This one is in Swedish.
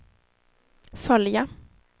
följa